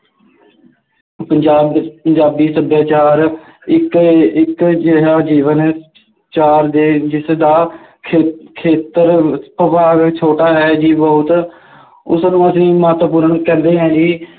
ਪੰਜਾਬ ਵਿੱਚ ਪੰਜਾਬੀ ਸੱਭਿਆਚਾਰ ਇੱਕ ਇੱਕ ਅਜਿਹਾ ਜੀਵਨ ਜਿਸਦਾ ਖੇਤਰ ਬਹੁਤ ਛੋਟਾ ਹੈ ਜੀ ਬਹੁਤ, ਉਸਨੂੰ ਅਸੀਂ ਮਹੱਤਵਪੂਰਨ ਕਹਿੰਦੇ ਹਾਂ ਜੀ,